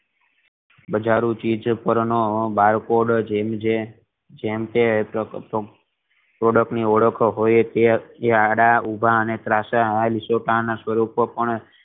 બધી ચીજ પર નો barcode જેમ કે product ની ઓળખ હોય તેમ તે આડા ઉભા અને ત્રાસ હોય તેમ તે